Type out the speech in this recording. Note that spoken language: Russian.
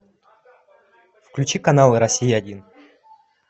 включи канал россия один